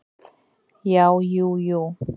Já, jú jú.